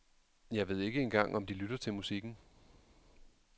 Jeg ved ikke engang om de lytter til musikken.